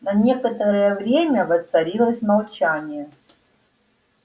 на некоторое время воцарилось молчание